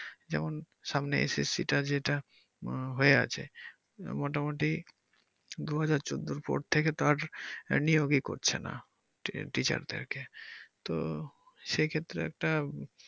যেমন সামনে SSC টা যেটা আহ হয়ে আছে মোটামুটি দুই হাজার চৌদ্দ এর পর থেকে তো আর নিয়োগই করছে না teacher দেরকে তো সেক্ষেত্রে একটা।